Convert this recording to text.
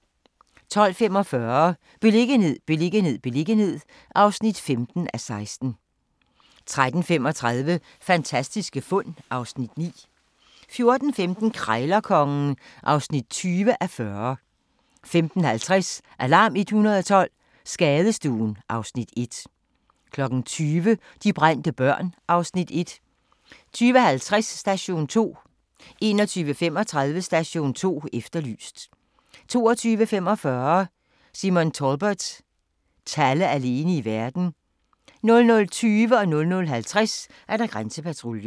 12:45: Beliggenhed, beliggenhed, beliggenhed (15:16) 13:35: Fantastiske fund (Afs. 9) 14:15: Krejlerkongen (20:40) 15:50: Alarm 112 – Skadestuen (Afs. 1) 20:00: De brændte børn (Afs. 1) 20:50: Station 2 21:35: Station 2 Efterlyst 22:45: Simon Talbot – Talle alene i verden 00:20: Grænsepatruljen 00:50: Grænsepatruljen